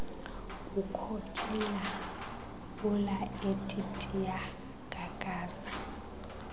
kukhokela ulaetitia kakaza